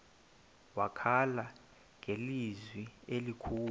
wakhala ngelizwi elikhulu